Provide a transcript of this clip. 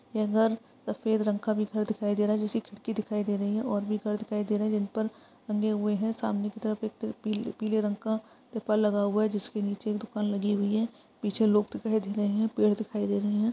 इधर सफेद रंग का भी घर दिखाई दे रहा है जिसकी खिड़की दिखाई दे रही है और भी घर दिखाई दे रहे हैं जिन पर टंगे हुए हैं। सामने की तरफ एक पी पीले रंग का पेपर लगा हुआ है। जिसके नीचे एक दुकान लगी हुई है। पीछे लोग दिखाई दे रहे हैं। पेड़ दिखाई दे रहे हैं।